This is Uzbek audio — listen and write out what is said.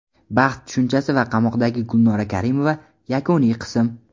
baxt tushunchasi va qamoqdagi Gulnora Karimova (yakuniy qism).